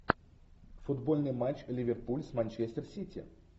футбольный матч ливерпуль с манчестер сити